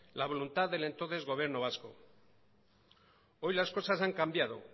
la voluntad del entonces gobierno vasco hoy las cosas han cambiado